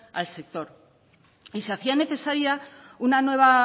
al sector y se hacía necesaria una nueva